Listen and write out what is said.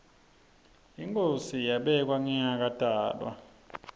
inkhosi yabekwa ngingakatalwa